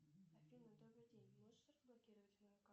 афина добрый день можешь разблокировать мою карту